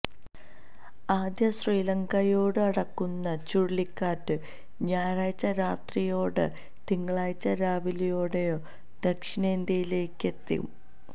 ആദ്യം ശ്രീലങ്കയോട് അടുക്കുന്ന ചുഴലിക്കാറ്റ് ഞായറാഴ്ച രാത്രിയോടെയോ തിങ്കളാഴ്ച രാവിലെയോടെയോ ദക്ഷിണേന്ത്യയിലേക്കെത്തും